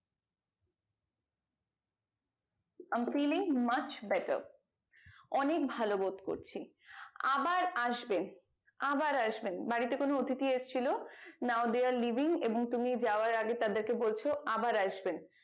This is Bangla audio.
i am feeling much better অনেক ভালো বোধ করছি আবার আসবেন আবার আসবেন বাড়িতে কোনো অত্তথি এসেছিলো now there living এবং তুমি যাওয়ার আগে তাদেরকে বলছো আবার আসবেন